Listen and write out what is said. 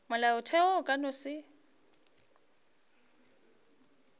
molaotheo o ka no se